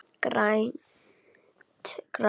Grænt gras.